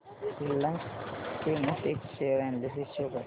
Reliance Chemotex share analysis show कर